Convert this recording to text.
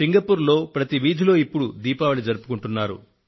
Singapore లో ప్రతి వీధిలో ఇప్పడు దీపావళిని జరుపుకొంటున్నారు